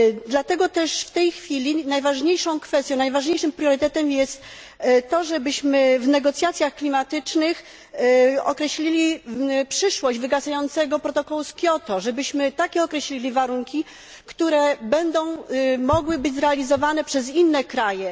Dlatego też w tej chwili najważniejszą kwestią, najważniejszym priorytetem jest to, żebyśmy w negocjacjach klimatycznych określili przyszłość wygasającego protokołu z Kioto, żebyśmy określili takie warunku, które będą mogły być realizowane przez inne kraje.